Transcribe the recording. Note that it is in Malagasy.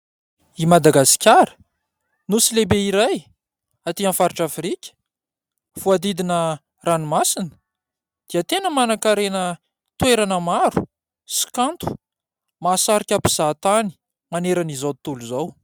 I Madagasikara, nosy lehibe iray atỳ amin'ny faritra Afrika voahodidina ranomasina dia tena manankarena toerana maro sy kanto mahasarika mpizahatany manerana izao tontolo izao.